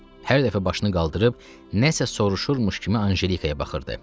Hər dəfə başını qaldırıb nə isə soruşurmuş kimi Anjelikaya baxırdı.